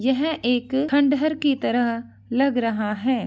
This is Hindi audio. यह एक खंडहर की तरह लग रहा है।